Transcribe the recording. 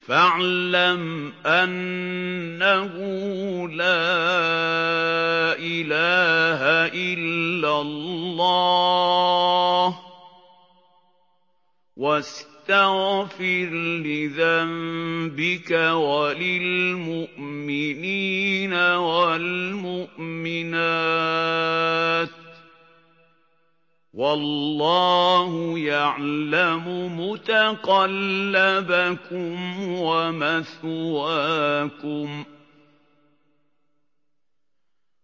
فَاعْلَمْ أَنَّهُ لَا إِلَٰهَ إِلَّا اللَّهُ وَاسْتَغْفِرْ لِذَنبِكَ وَلِلْمُؤْمِنِينَ وَالْمُؤْمِنَاتِ ۗ وَاللَّهُ يَعْلَمُ مُتَقَلَّبَكُمْ وَمَثْوَاكُمْ